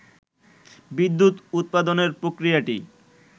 বিদ্যুৎ উৎপাদনের প্রক্রিয়াটি